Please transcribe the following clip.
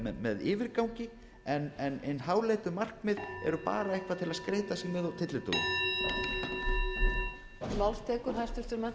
áfram með yfirgangi en hin háleitu markmið eru bara eitthvað til að skreyta sig með á tyllidögum